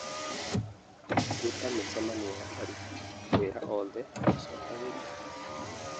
rũta mĩcemanio ya aruti wĩra oothe ũcokagĩrio